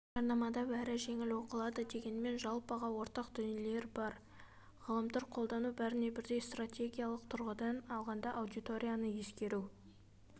жарнамада бәрі жеңіл оқылады дегенмен жалпыға ортақ дүниелер бар ғаламтор-қолдау бәріне бірдей стратегиялық тұрғыда алғанда аудиторияны ескеру